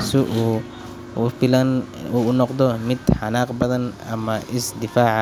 uu si lama filaan ah u noqdo mid xanaaq badan ama is difaacaya.